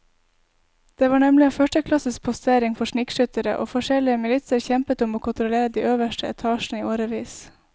Det var nemlig en førsteklasses postering for snikskyttere, og forskjellige militser kjempet om å kontrollere de øverste etasjene i årevis.